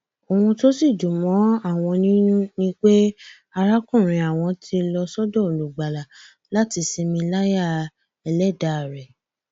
bákan náà ló ṣàpèjúwe ẹgbẹ nnepp gẹgẹ bíi èyí tí ìdàgbàsókè ń bá jù lọ nílẹ aláwọ dúdú